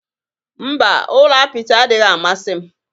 Mba, ụlọ apịtị adịghị amasị m